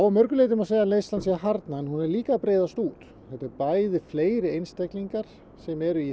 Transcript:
að mörgu leyti má segja að neyslan sé að harðna en hún er líka að breiðast út þetta er bæði fleiri einstaklingar sem eru í